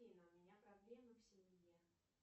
афина у меня проблема в семье